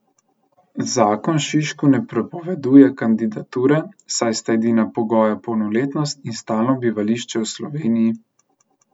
Zakon Šišku ne prepoveduje kandidature, saj sta edina pogoja polnoletnost in stalno bivališče v Sloveniji.